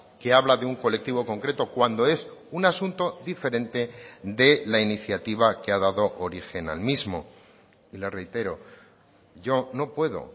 que habla de un colectivo concreto cuando es un asunto diferente de la iniciativa que ha dado origen al mismo y le reitero yo no puedo